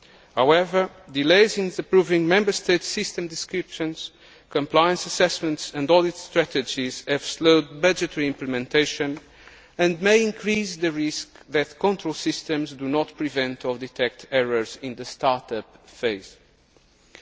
However, delays in approving Member States' systems descriptions, compliance assessments and audit strategies have slowed budgetary implementation and may increase the risk that control systems do not prevent or detect errors in the start up phase.